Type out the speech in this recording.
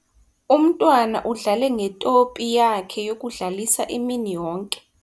Umntwana udlale ngetopi yakhe yokudlalisa imini yonke.